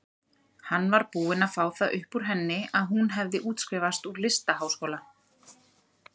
Hann var búinn að fá það upp úr henni að hún hefði útskrifast úr listaháskóla.